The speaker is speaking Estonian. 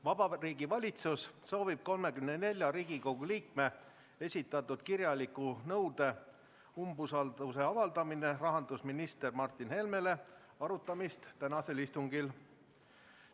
Vabariigi Valitsus soovib 34 Riigikogu liikme esitatud kirjaliku nõude "Umbusalduse avaldamine rahandusminister Martin Helmele" arutamist tänasel istungil.